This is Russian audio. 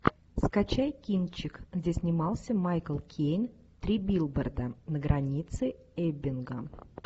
скачай кинчик где снимался майкл кейн три билборда на границе эббинга